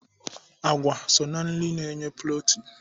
Àgwà so ná nri na-enye protin.